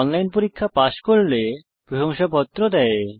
online পরীক্ষা pass করলে প্রশংসাপত্র দেয়